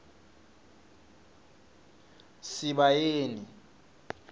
sibayeni